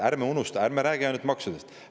Ärme räägime ainult maksudest.